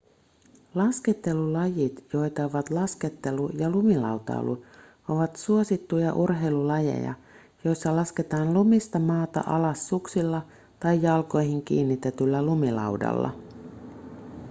laskettelulajit joita ovat laskettelu ja lumilautailu ovat suosittuja urheilulajeja joissa lasketaan lumista maata alas suksilla tai jalkoihin kiinnitetyllä lumilaudalla